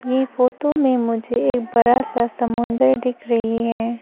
यह फोटो में मुझे एक बड़ा सा समुंदर दिख रही है।